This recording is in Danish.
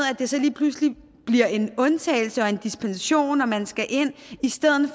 at det så lige pludselig bliver en undtagelse og en dispensation og man skal ind i stedet